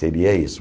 Seria isso.